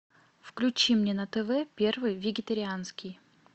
включи мне на тв первый вегетарианский